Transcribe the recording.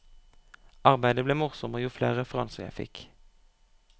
Arbeidet ble morsommere jo flere referanser jeg fikk.